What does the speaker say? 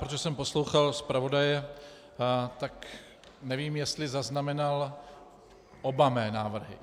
Protože jsem poslouchal zpravodaje, tak nevím, jestli zaznamenal oba mé návrhy.